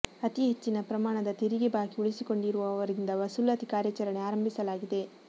ಅತೀ ಹೆಚ್ಚಿನ ಪ್ರಮಾ ಣದ ತೆರಿಗೆ ಬಾಕಿ ಉಳಿಸಿಕೊಂಡಿರುವವ ರಿಂದ ವಸೂಲಾತಿ ಕಾರ್ಯಾಚರಣೆ ಆರಂಭಿಸ ಲಾಗಿದೆ